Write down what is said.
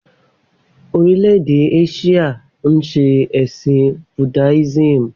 Orílè-èdè Áṣíà ń ṣe ẹ̀sìn Buddhism